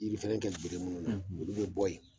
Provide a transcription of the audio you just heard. Yirifɛrɛn bɛ bɔ minnu na olu bɛ bɔ yen